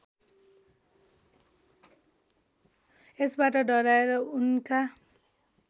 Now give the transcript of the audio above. यसबाट डराएर उनका